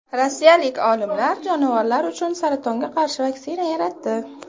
Rossiyalik olimlar jonivorlar uchun saratonga qarshi vaksina yaratdi.